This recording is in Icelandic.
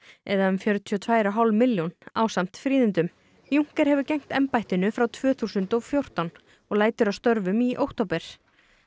eða um fjörutíu og tvær og hálf milljón ásamt fríðindum hefur gegnt embættinu frá tvö þúsund og fjórtán og lætur af störfum í október